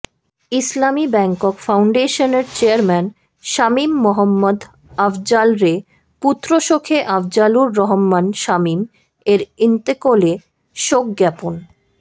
ইসলামী bank ফাউন্ডশেনরে chairman Shamim Mohammad আফজালরে পুত্র শখে আফজালুর রহমান সামীম এর ইন্তকোলে শোকজ্ঞাপন